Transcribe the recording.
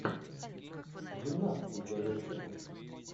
гимнастки первая часть